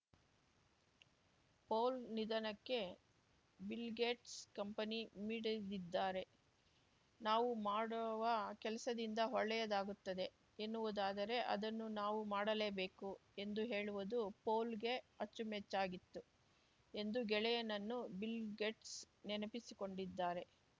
Paul ನಿಧನಕ್ಕೆ Bill Gates ಕಂಬನಿ ಮಿಡಿದಿದ್ದಾರೆ ನಾವು ಮಾಡುವ ಕೆಲಸದಿಂದ ಒಳ್ಳೆಯದಾಗುತ್ತದೆ ಎನ್ನುವುದಾದರೆ ಅದನ್ನು ನಾವು ಮಾಡಲೇಬೇಕು ಎಂದು ಹೇಳುವುದು ಪೌಲ್‌ಗೆ ಅಚ್ಚುಮೆಚ್ಚಾಗಿತ್ತು ಎಂದು ಗೆಳೆಯನನ್ನು ಬಿಲ್‌ಗೇಟ್ಸ್‌ ನೆನಪಿಸಿಕೊಂಡಿದ್ದಾರೆ